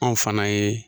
Anw fana ye